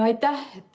Aitäh!